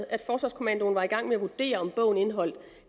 at forsvarskommandoen var i gang med at vurdere om bogen indeholdt